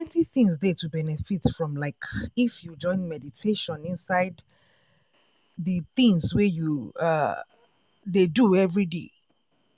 plenty things dey to benefit from like if you join meditation inside de tins wey you ah! dey do everyday.